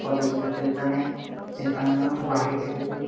college বটে এখানে সেখানেও --